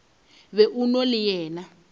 be o na le yena